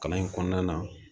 Kalan in kɔnɔna na